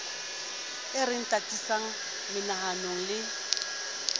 e re tataisang menahanong le